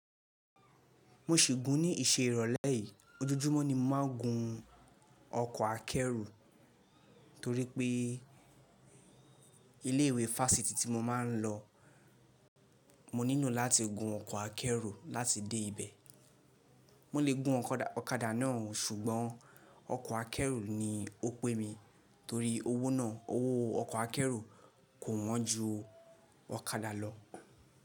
Mo ṣì gún ní ìṣe ìrọ̀lẹ́ yìí. Ojojúmọ́ ni mo màá n gun ọkọ̀ akẹ́rù torí pé ilé ìwé fáfitì tí mo máa ń lọ, mo nílò láti gun ọkọ̀ akẹ́rù láti dé ibẹ̀. Mo lè gun ọ̀kadà náà ó ṣùgbọ́n ọkọ̀ akẹ́rù ni ó pé mi torí owó náà, owó ọkọ̀ akẹ́rù kò wọ́n ju ọ̀kadà lọ.